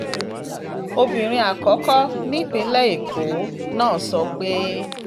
obìnrin àkọ́kọ́ nípìnlẹ̀ èkó náà sọ pé